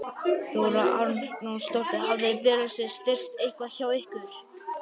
Þóra Arnórsdóttir: Hafa biðlistarnir styst eitthvað hjá ykkur?